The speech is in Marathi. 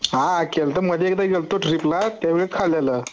हा केलत मध्ये एकदा गेल होत ट्रीपला त्यावेळी खालेल